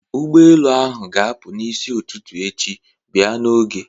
Ụgbọelu ahụ ga-apụ n'isi ụtụtụ echi, bịa n'oge!